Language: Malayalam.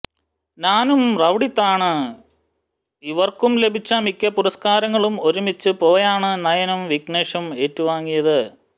നാനും റൌഡി താന് ഇരുവര്ക്കും ലഭിച്ച മിക്ക പുരസ്ക്കാരങ്ങളും ഒരുമിച്ച് പോയാണ് നയനും വിഘ്നേശും ഏറ്റുവാങ്ങിയത്